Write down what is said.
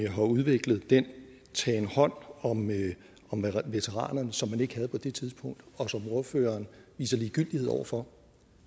har udviklet den tagen hånd om veteranerne som man ikke havde på det tidspunkt og som ordføreren viser ligegyldighed over for